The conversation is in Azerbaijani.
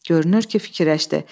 Görünür ki, fikirləşdi.